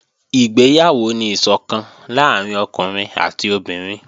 Ìgbéyàwó ni ìsọ̀kan láàrín ọkùnrin àti obìnrin